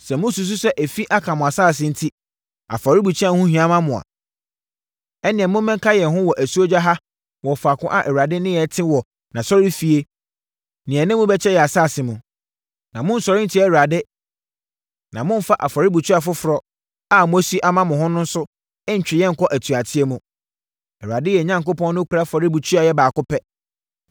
Sɛ mosusu sɛ efi aka mo asase enti afɔrebukyia ho hia mo a, ɛnneɛ mommɛka yɛn ho wɔ asuogya ha wɔ faako a Awurade ne yɛn te wɔ nʼAsɔrefie na yɛne mo bɛkyɛ yɛn asase mu. Na monnsɔre nntia Awurade na mommfa afɔrebukyia foforɔ a moasi ama mo ho so ntwe yɛn nkɔ atuateɛ mu. Awurade, yɛn Onyankopɔn nokorɛ afɔrebukyia yɛ baako pɛ.